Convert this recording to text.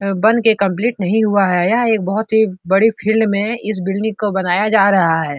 ए बन के कम्पलीट नहीं हुआ है। यह एक बहुत ही बड़ी फिल्ड में इस बिल्डिंग को बनाया जा रहा है।